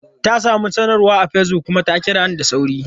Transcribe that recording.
Ta samu sanarwa a Facebook kuma ta kira ni da sauri.